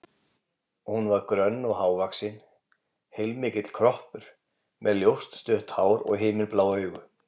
Hún var grönn og hávaxin, heilmikill kroppur, með ljóst, stutt hár og himinblá augu.